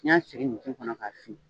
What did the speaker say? N y'a sigin ɲintin kɔnɔ ka fin.